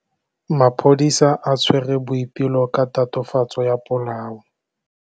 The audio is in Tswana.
Maphodisa a tshwere Boipelo ka tatofatsô ya polaô.